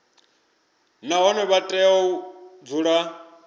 nahone vha tea u dzula